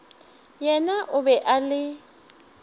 yena o be a le